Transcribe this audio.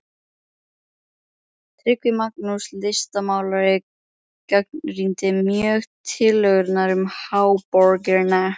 Tryggvi Magnússon, listmálari, gagnrýndi mjög tillögurnar um háborgina.